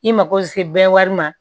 I mako bɛ se bɛɛ wari ma